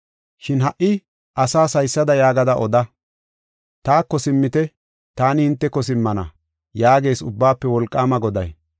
Shin ha77i asaas haysada yaagada oda: ‘Taako simmite; taani hinteko simmana’ yaagees Ubbaafe Wolqaama Goday.